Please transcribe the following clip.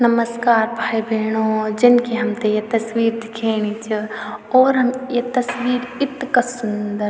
नमश्कार भाई-भेणो जन की हमथे ये तस्वीर दिखेनी च और हम या तस्वीर इतका सुन्दर।